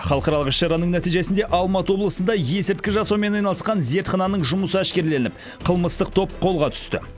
халықаралық іс шараның нәтижесінде алматы облысында есірткі жасаумен айналысқан зертхананың жұмысы әшкереленіп қылмыстық топ қолға түсті